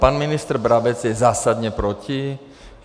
Pan ministr Brabec je zásadně proti.